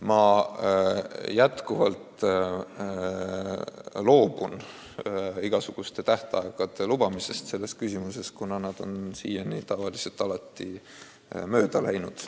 Samas ma loobun tänagi igasuguste tähtaegade lubamisest selles küsimuses, kuna need on siiani alati mööda läinud.